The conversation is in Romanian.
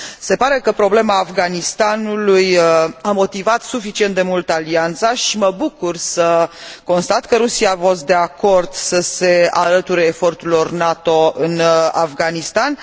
Se pare că problema Afganistanului a motivat suficient de mult Alianța și mă bucur să constat că Rusia a fost de acord să se alăture eforturilor NATO în Afganistan.